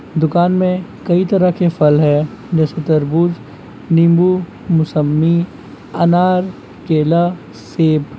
दुकान मे कई तरह के फल है जैसे-तरबूज नींबू मुसम्बी अनार केला सेब।